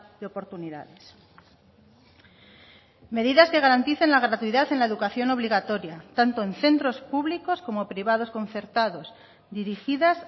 de oportunidades medidas que garanticen la gratuidad en la educación obligatoria tanto en centros públicos como privados concertados dirigidas